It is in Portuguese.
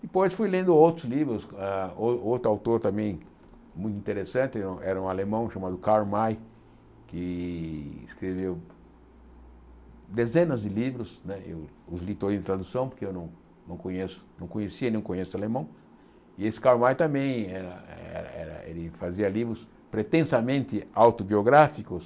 Depois fui lendo outros livros, ah outro outro autor também muito interessante, era era um alemão chamado Karl May, que escreveu dezenas de livros né, eu os li todos em tradução, porque eu não não conheço não conhecia, e não conheço alemão, e esse Karl May também era era era ele fazia livros pretensamente autobiográficos,